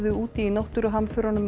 úti í náttúruhamförunum